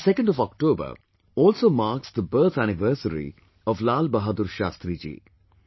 the 2nd of October also marks the birth anniversary of Lal Bahadur Shastri ji